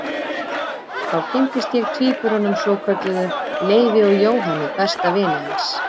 Þá kynntist ég tvíburunum svokölluðu, Leifi og Jóhanni besta vini hans.